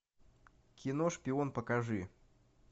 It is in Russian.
кино шпион покажи